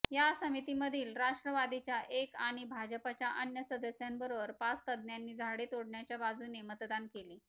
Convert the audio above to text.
या समितीमधील राष्ट्रवादीच्या एक आणि भाजच्या अन्य सदस्यांबरोबर पाच तज्ञांनी झाडे तोडण्याच्या बाजूने मतदान केले